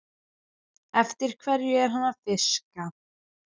Eftir hverju er hann að fiska?